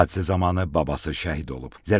Hadisə zamanı babası şəhid olub.